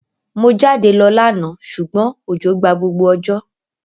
Mo jáde lo lánà sùgbón òjò gba gbogbo òjò